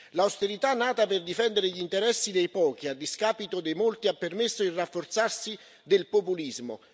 L'austerità, nata per difendere gli interessi dei pochi a discapito dei molti, ha permesso il rafforzarsi del populismo.